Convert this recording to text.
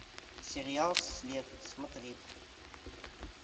сериал след смотреть